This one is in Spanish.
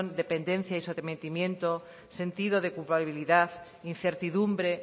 dependencia y sometimiento sentido de culpabilidad incertidumbre